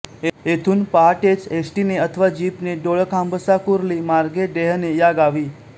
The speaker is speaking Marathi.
येथून पहाटेच एस टी ने अथवा जीपने डोळखांबसाकुर्ली मार्गेडेहणे या गावी